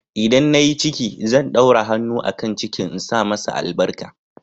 ldan na yi ciki, zan ɗaura hannu a kan cikin insa masa albarka.